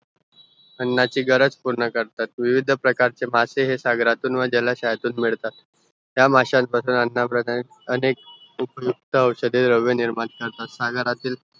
अन्नाची गरज पूर्ण करतात विविद प्रकारचे मासे हे सागरातून व जलसायातून मिळतात ह्या मशान पासुन अन्ना प्रकारे अनेक उपयुक्त औषधें द्रव्य निर्माणकरतात सागरातील